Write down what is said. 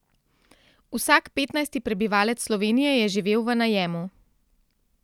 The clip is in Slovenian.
Vsak petnajsti prebivalec Slovenije je živel v najemu.